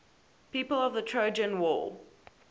people of the trojan war